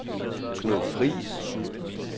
Knud Friis